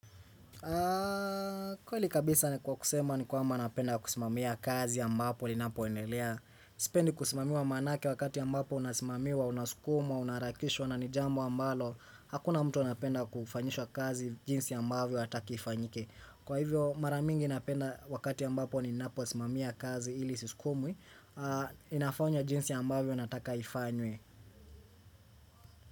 Kweli kabisa ni kwa kusema ni kwamba napenda kusimamia kazi ambapo linapo enelea Sipendi kusimamiwa manake wakati ambapo unasimamiwa, unasukumwa, unaharakishwa na ni jambo ambalo Hakuna mtu anapenda kufanyishwa kazi jinsi ambavyo hataki ifanyike Kwa hivyo maramingi napenda wakati ambapo ninaposimamia kazi ili siskumwi inafanya jinsi ambavyo nataka ifanywe.